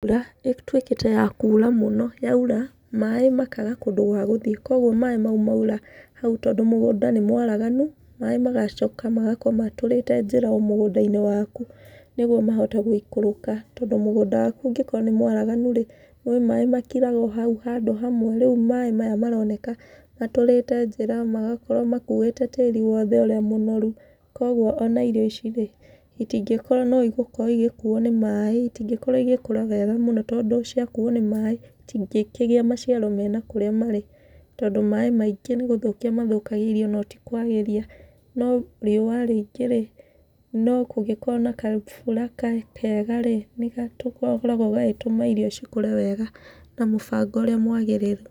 Mbura ĩtwĩkĩte ya kura mũno, yaura maĩ makaga kũndũ gwa gũthi, kuoguo maĩ mau maura, hau tondũ mũgũnda nĩ mwaraganu maĩ macoka magakorwo matũrĩte njĩra o mũgũnda-inĩ waku nĩguo mahote gũikũrũka tondũ mũgũnda waku ũngĩkorwo nĩ mwaraganu-rĩ, nĩũĩ maĩ makiraga o hau handũ hamwe. Rĩu maĩ maya maroneka matũrĩte njĩra magakorwo makuĩte tĩri wothe ũrĩa mũnoru, kũoguo ona irio ici-rĩ, itingĩkorwo no igũkorwo igĩkuo nĩ maĩ, itingĩkorwo igĩkũra wega mũno tondũ ciakuo nĩ maĩ itingĩkĩgĩa maciaro mena kũrĩa marĩ tondũ maĩ maingĩ nĩgũthũkia mathũkagia irio no ti kwagĩria no rĩũra rĩingĩ-rĩ, no kũngĩkorwo na kabura kega-rĩ, nĩgakoragwo gagĩtũma irio cikũre wega na mũbango ũrĩa mwagĩrĩru.